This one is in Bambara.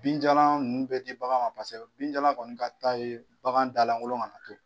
Binjalan ninnu bɛ di bagan ma, paseke binjalan kɔni ka d'a ye bagan da lankolon kana na to.